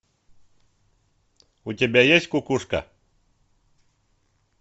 у тебя есть кукушка